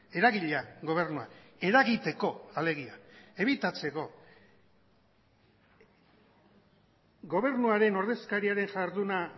eragilea gobernua eragiteko alegia ebitatzeko gobernuaren ordezkariaren jarduna